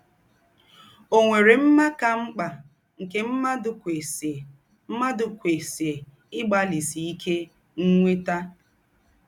Ọ̀ nwèrè mmá kà m̀kpà nkē mmádụ̀ kwesíè mmádụ̀ kwesíè ígbálísí íké ínwétà?